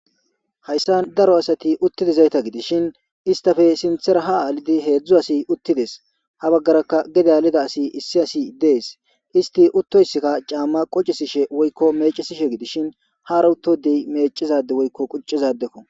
Haysan daro asati utdayzata gidishen, istapa sintara ha gidi hezu asati utdes. Ha bagaraka gade hanedays des isyi as de'es, isti utoska chama quchishshen weyko machishe gidishin, hara uto adeyi machiza ade weyko quchiza adeko.